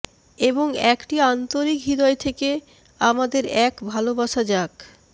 এবং একটি আন্তরিক হৃদয় থেকে আমাদের এক ভালবাসা যাক